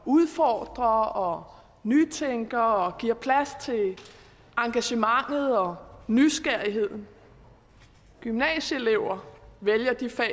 udfordrer og nytænker og giver plads til engagementet og nysgerrigheden gymnasieelever vælge de fag